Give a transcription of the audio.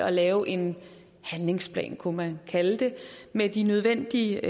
at lave en handlingsplan kunne man kalde det med de nødvendige